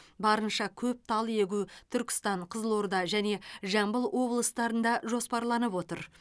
барынша көп тал егу түркістан қызылорда және жамбыл облыстарында жоспарланып отыр